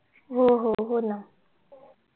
हो हो होना